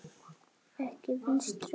Ekki Vinstri græn.